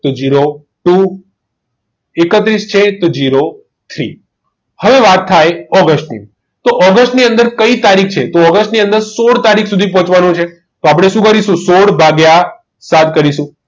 તે zero two એકત્રીસ છે તો zero three હવે વાત થાય ઓગસ્ટની તો ઓગસ્ટ ની અંદર કઈ તારીખ છે તો ઓગસ્ટની ની અંદર સોઢ તારીખ સુધી પહોંચવાનું છે તો આપણે શું કરીશું સોઢ ભાગીયા સાત કરીશું